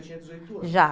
Ele já tinha? já.